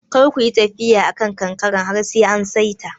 Kar kuyi tafiya a kan kankaren har sai an saita.